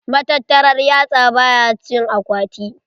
Matattar yatsa ba ya cikin akwati.